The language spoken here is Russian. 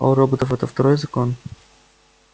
а у роботов это второй закон